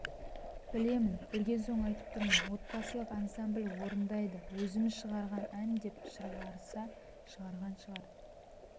білемін білген соң айтып тұрмын отбасылық ансамбл орындайды өзіміз шығарған ән деп шығарса шығарған шығар